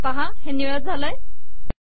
पहा हे निळे झाले आहे